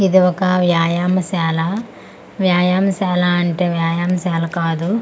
ఇది ఒక వ్యాయామశాల వ్యాయామశాల అంటే వ్యాయామశాల కాదు.